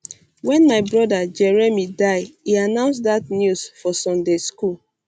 wen my brother jeremy die e announce dat news for sunday school